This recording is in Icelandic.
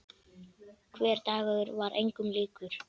Hver dagur var engum líkur.